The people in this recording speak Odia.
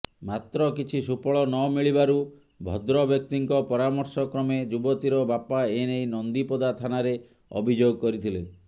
ମାତ୍ର କିଛି ସୁଫଳ ନମିଳିବାରୁ ଭଦ୍ରବ୍ୟକ୍ତିଙ୍କ ପରାମର୍ଶ କ୍ରମେ ଯୁବତୀର ବାପା ଏନେଇ ନନ୍ଦିପଦା ଥାନାରେ ଅଭିଯୋଗ କରିଥିଲେ